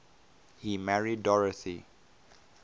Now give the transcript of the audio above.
he married dorothy